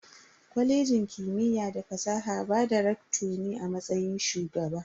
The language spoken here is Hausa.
Kwalejin kimiyya da fasaha ba da "Recto" ne a matsayin Shugaba.